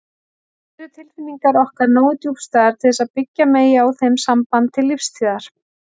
Eru tilfinningar okkar nógu djúpstæðar til þess að byggja megi á þeim samband til lífstíðar?